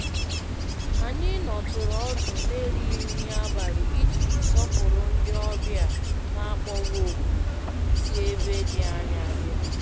Anyị nọtụrụ ọdụ n'erighị nri abalị iji sọpụrụ ndị obja n'akpọghị òkù sí ebe dị ányá.